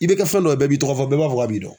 I bɛ kɛ fɛn dɔ ye a b'i tɔgɔ fɔ i b'a fɔ k'a b'i dɔn.